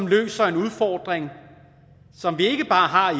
løse en udfordring som vi ikke bare har